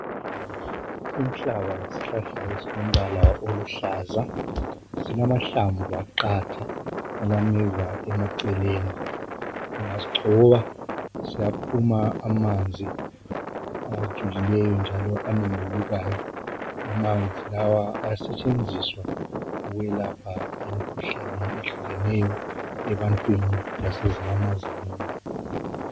Inhlaka yishlahla esilombala oluhlaza. Silamahlamvu aqatha alameva emaceleni. Ungasigxoba siyaphuma amanzi ajulileyo njalo anembulukayo. Amanzi lawa ayasetshenziswa ukwelapha imkhuhlane ehlukeneyo ebantwini lasezinyamazaneni.